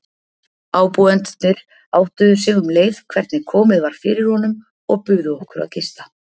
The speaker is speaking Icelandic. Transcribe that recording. Ábúendurnir áttuðu sig um leið hvernig komið var fyrir honum og buðu okkur að gista.